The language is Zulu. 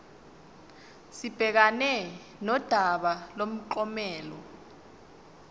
sibhekane nodaba lomklomelo